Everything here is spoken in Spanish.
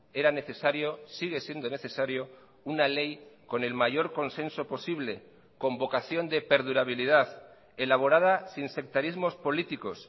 era necesario sigue siendo necesario una ley con el mayor consenso posible con vocación de perdurabilidad elaborada sin sectarismos políticos